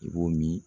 I b'o min